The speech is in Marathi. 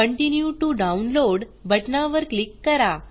कंटिन्यू टीओ डाउनलोड बटना वर क्लिक करा